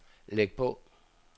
læg på